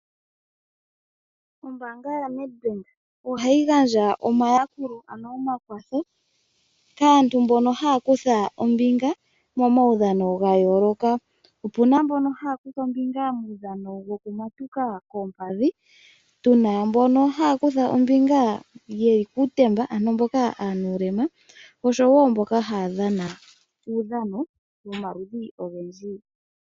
Ombaanga yaNedbank ohayi gandja omayakulo ano omakwatho kaantu kehe haya kutha ombinga momaudhano ga yooloka. Opu na mbono haya kutha ombinga momaudhano gokumatuka koompadhi, tu na mbono haya kutha ombinga ye li kuutemba, ano mboka ye na uulema osho wo mboka haya dhana uudhano womaludhi ogendji.